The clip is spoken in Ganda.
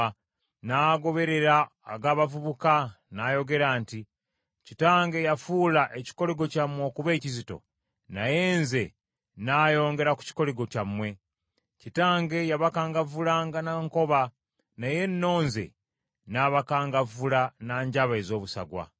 n’agoberera ag’abavubuka, n’ayogera nti, “Kitange yafuula ekikoligo kyammwe okuba ekizito, naye nze nnaayongera ku kikoligo kyammwe. Kitange yabakangavvulanga na nkoba, naye nno nze nnaabakangavvula na njaba ez’obusagwa.”